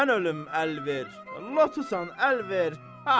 Mən ölüm əl ver, latusan əl ver.